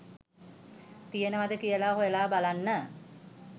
තියෙනවද කියලා හොයලා බලන්න